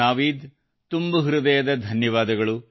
ನಾವೀದ್ ತುಂಬು ಹೃದಯದ ಧನ್ಯವಾದಗಳು